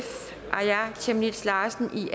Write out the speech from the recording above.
chemnitz larsen magni